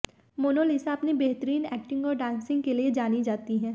Mona Lisa अपनी बेहतरीन acting और डांसिंग के लिए जानी जाती हैं